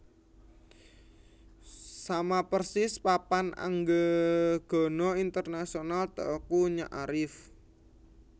Sama persis Papan anggegana internasional Teuku Nyak Arif